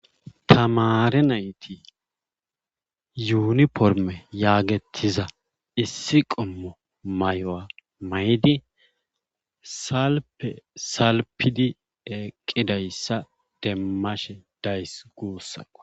Tamaare nayti yuuniformme yaagettiza issi qommo mayuwa mayidi salfe salfedi eqqidayssa demmashe days guussako.